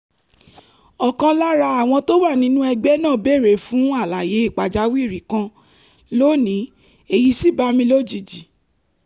ọ̀kan lára àwọn tó wà nínú ẹgbẹ́ náà béèrè fún àlàyé pàjáwìrì kan lónìí èyí sì bá mi lójijì